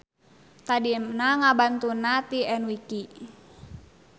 Tadina ngabantunna ti enwiki.